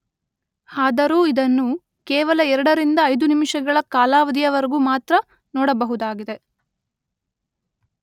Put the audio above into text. ಆದರೂ ಇದನ್ನು ಕೇವಲ ಎರಡರಿಂದ ಐದುನಿಮಿಷಗಳ ಕಾಲಾವಧಿಯವರೆಗೆ ಮಾತ್ರ ನೋಡಬಹುದಾಗಿದೆ.